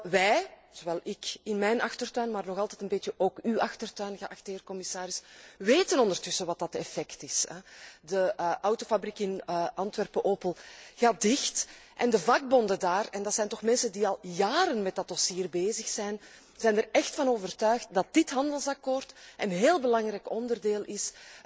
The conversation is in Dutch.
Wel, wij, zowel ik in mijn achtertuin, maar nog altijd ook een beetje ook uw achtertuin, geachte commissaris, weten ondertussen wat dat effect is. De Opel autofabriek in Antwerpen gaat dicht en de vakbonden daar en dat zijn toch mensen die al jaren met dat dossier bezig zijn zijn er echt van overtuigd dat dit handelsakkoord een heel belangrijk onderdeel is